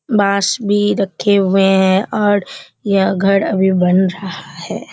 बांस भी रखे हुए है और यह घर अभी बन रहा है।